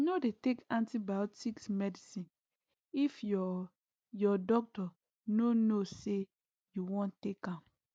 nor dey take antibiotics medicine if ur ur doctor nor know say u wan take am